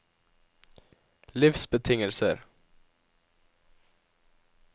livsbetingelser